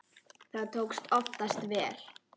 Það tókst oftast vel.